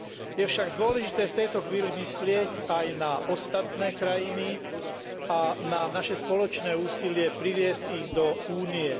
Je však dôležité v tejto chvíli myslieť aj na ostatné krajiny a na naše spoločné úsilie priviesť ich do Únie.